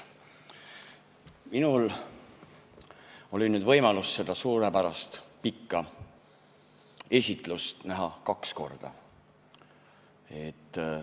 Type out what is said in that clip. Minul on võimalus olnud seda suurepärast pikka esitlust kaks korda näha.